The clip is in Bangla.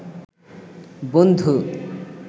বনধু